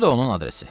Bu da onun adresi.